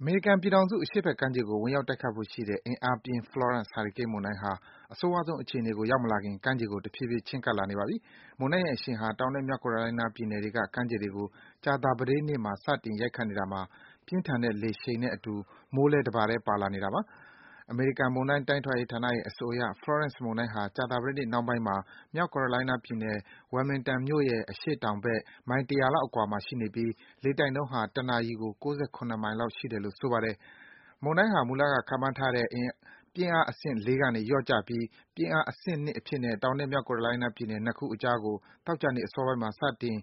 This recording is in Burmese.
အမေရိကန်ပြည်ထောင်စု အရှေ့ဘက်ခြမ်းကို ဝင်ရောက်တိုက်ခိုက်ဖို့ရှိတဲ့ အင်အားပြင်း Florence ဟာရီကိန်း မုန်တိုင်းဟာ အဆိုးရွားဆုံး အခြေအနေကို ရောက်မလာခင် ကမ်းခြေကို တဖြည်းဖြည်း ချဉ်းကပ်လာနေပါပြီ။ မုန်တိုင်းရဲ့အရှိန်ဟာ တောင်နဲ့ မြောက်ကယ်ရိုလိုင်းနားပြည်နယ်တွေက ကမ်းခြေတွေကို ကြာသပတေးနေ့မှာ စတင် ရိုက်ခတ်နေတာမှာ ပြင်းထန်တဲ့ လေအရှိန်နဲ့အတူ မိုးလည်း တပါတည်း ပါလာပါတယ်။ အမေရိကန်မုန်တိုင်း တိုင်းထွာရေးဌာနရဲ့ အဆိုအရ Florence မုန်တိုင်းဟာ ကြာသပတေးနေ့ နှောင်းပိုင်းမှာ မြောက်ကယ်ရိုလိုင်းနားပြည်နယ် Wilmington မြို့ရဲ့ အရှေ့တောင်ဘက် မိုင် ၁၀၀ လောက်အကွာမှာ ရှိနေပြီး လေတိုက်နှုန်းဟာ တနာရီကို ၉၇ မိုင်လောက်ရှိတယ်လို့ ဆိုပါတယ်။ မုန်တိုင်းဟာ မူလက ခန့်မှန်းထားတဲ့ ပြင်းအားအဆင့် (၄) ကနေ လျော့ကျပြီး ပြင်းအား အဆင့် (၂) အဖြစ်နဲ့ တောင်နဲ့ မြောက်ကယ်ရိုလိုင်းနားပြည်နယ် နှစ်ခုအကြားကို သောကြာနေ့ အစောပိုင်းမှာ စတင်